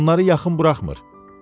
Onları yaxın buraxmır.